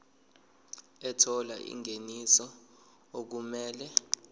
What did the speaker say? ethola ingeniso okumele